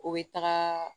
O bɛ taga